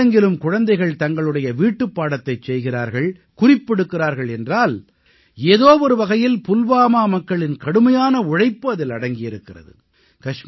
இன்று நாடெங்கிலும் குழந்தைகள் தங்களுடைய வீட்டுப் பாடத்தைச் செய்கிறார்கள் குறிப்பெடுக்கிறார்கள் என்றால் ஏதோ ஒரு வகையில் புல்வாமா மக்களின் கடுமையான உழைப்பு அதிலே அடங்கியிருக்கிறது